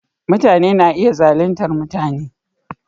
Mutane na iya zaluntar mutane.